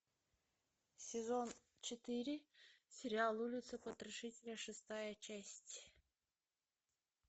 сезон четыре сериал улица потрошителя шестая часть